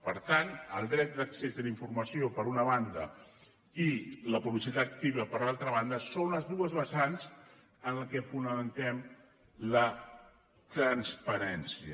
per tant el dret d’accés a la informació per una banda i la publicitat activa per l’altra banda són les dues vessants en què fonamentem la transparència